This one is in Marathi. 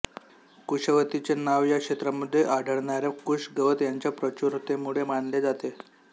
कुशवतीचे नाव या क्षेत्रामध्ये आढळणार्या कुश गवत यांच्या प्रचुरतेमुळे मानले जाते